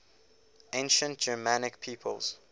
ancient germanic peoples